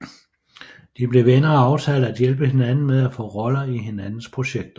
De blev venner og aftalte at hjælpe hinanden med at få roller i hinandens projekter